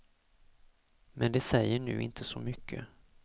Men det säger nu inte så mycket.